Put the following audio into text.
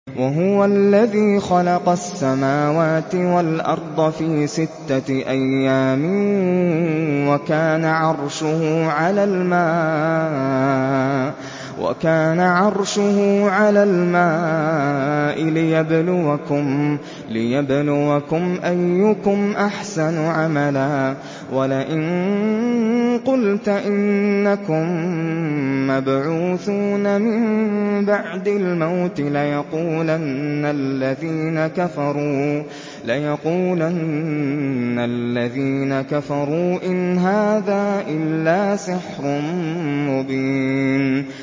وَهُوَ الَّذِي خَلَقَ السَّمَاوَاتِ وَالْأَرْضَ فِي سِتَّةِ أَيَّامٍ وَكَانَ عَرْشُهُ عَلَى الْمَاءِ لِيَبْلُوَكُمْ أَيُّكُمْ أَحْسَنُ عَمَلًا ۗ وَلَئِن قُلْتَ إِنَّكُم مَّبْعُوثُونَ مِن بَعْدِ الْمَوْتِ لَيَقُولَنَّ الَّذِينَ كَفَرُوا إِنْ هَٰذَا إِلَّا سِحْرٌ مُّبِينٌ